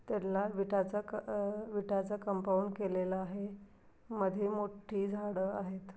लाल विटाचा क-- अं विटाचा कंपाऊंड केलेला आहे. मध्ये मोठी झाडं आहेत.